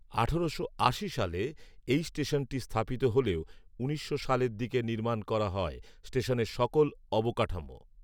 আঠেরোশো আশি সালে এই স্টেশনটি স্থাপিত হলেও উনিশশো সালের দিকে নির্মাণ করা হয় স্টেশনের সকল অবকাঠামো